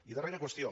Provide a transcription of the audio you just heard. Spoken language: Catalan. i darrera qüestió